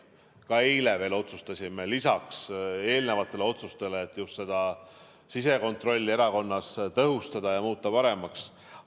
Ka eile veel otsustasime lisaks eelnevatele otsustele just sisekontrolli erakonnas tõhustada ja paremaks muuta.